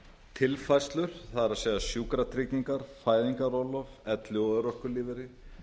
tilfærslur það er sjúkratryggingar fæðingarorlof elli og örorkulífeyrir